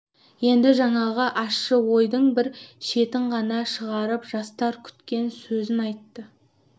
енді жаңағы ащы ойдың бір шетін ғана шығарып жастар күткен сөзін айтты